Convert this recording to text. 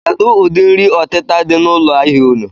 Kedụ ụdị nri ọtịta dị n'ụlọ ahịa unu?